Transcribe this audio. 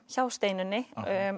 hjá Steinunni